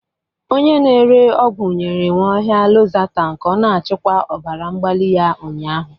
Onye na-ere ọgwụ nyere Nwaohia Lozatanu ka ọ na-achịkwa ọbara mgbali ya ụnyahụ.